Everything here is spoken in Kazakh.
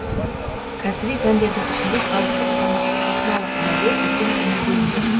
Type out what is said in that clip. кәсіби пәндердің ішінде халықтық сахналық биге үлкен көңіл бөлінді